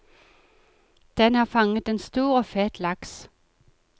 Den har fanget en stor og fet laks.